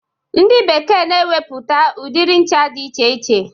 Ndi bekee na-emepụta udiri ncha dị iche iche.